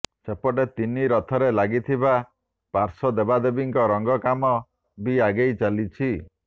ସେପଟେ ତିନି ରଥରେ ଲାଗିବାକୁ ଥିବା ପାର୍ଶ୍ୱ ଦେବାଦେବୀଙ୍କ ରଙ୍ଗ କାମ ବି ଆଗେଇ ଚାଲିଛି